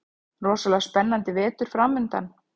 Rosalega spennandi vetur framundan